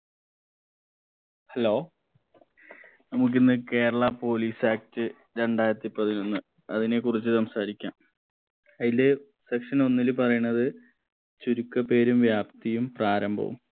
hello നമുക്കിന്ന് Kerala police act രണ്ടായിരത്തി പതിനൊന്ന് അതിനെ കുറിച്ച് സംസാരിക്കാം അയില് section ഒന്നില് പറയണത് ചുരുക്കപ്പേരും വ്യാപ്തിയും പ്രാരംഭവും